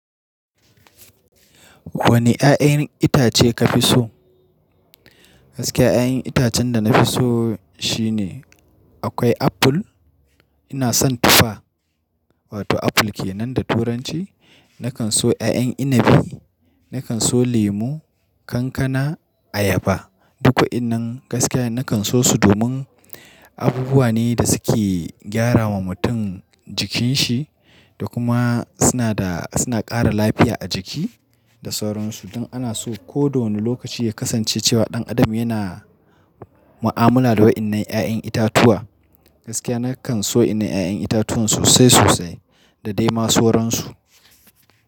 Wani ƴaƴan itace ka fi so? Gaskiya ƴaƴan itacen da na fi so shine akwai apple. Ina son tufa, wato apple ke nan da turanci. Nakan so ƴaƴan inabi, nakan so lemu, kankana, ayaba. Duk wayannan gaskiya nakan so su domin abubuwa ne da suke gyara wa mutum jikin shi da kuma suna da, suna ƙara lafiya a jiki da sauransu. Don ana so koda wane lokaci ya kasance cewa ɗan adam yana mu'amala da waɗannan ƴaƴan itatuwa. Gaskiya nakan so inna ƴaƴan itatuwan sosai sosai da dai ma sauransu.